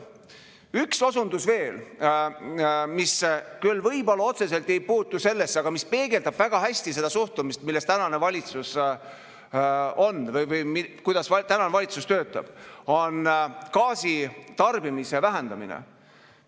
Üks osundus veel, mis küll võib-olla otseselt ei puutu sellesse, aga mis peegeldab väga hästi seda suhtumist, mis tänasel valitsusel on või kuidas tänane valitsus töötab –, on gaasi tarbimise vähendamine.